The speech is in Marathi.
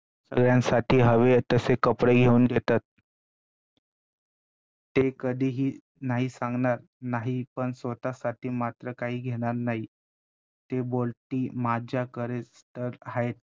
सगळ्यांसाठी हवे तसे कपडे घेऊन देतात. ते कधीही नाही सांगणार नाही पण स्वतःसाठी मात्र काही घेणार नाही ते बोलतील माझ्याकडे तर आहेत